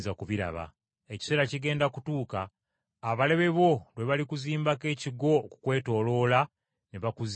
Ekiseera kigenda kutuuka abalabe bo lwe balikuzimbako ekigo okukwetooloola ne bakuzinda,